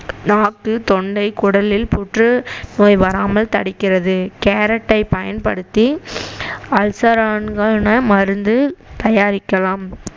நாக்கு தொண்டை குடலில் புற்று நோய் வராமல் தடுக்கிறது கேரட்டை பயன்படுத்தி அல்சர்கனா மருந்து தயாரிக்கலாம்